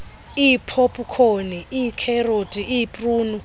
iipopkhoni iikherothi iipruni